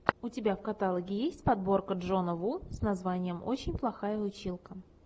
у тебя в каталоге есть подборка джона ву с названием очень плохая училка